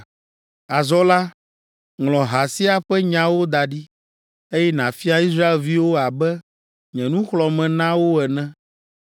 “Azɔ la, ŋlɔ ha sia ƒe nyawo da ɖi, eye nàfia Israelviwo abe nye nuxlɔ̃ame na wo ene.